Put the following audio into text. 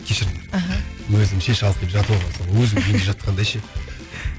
кешіріңдер аха өзімше шалқиып жатып алғансың ғой өзімнің үйімде жатқандай ше